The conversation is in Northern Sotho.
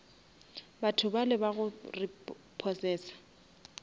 batho bale ba go repossesa